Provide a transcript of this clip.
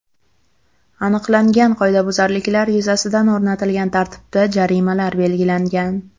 Aniqlangan qoidabuzarliklar yuzasidan o‘rnatilgan tartibda jarimalar belgilangan.